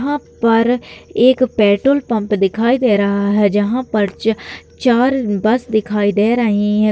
यहां पर एक पेट्रोल पम्प दिखाई दे रहा है जहां पर च चार बस दिखाई दे रही है।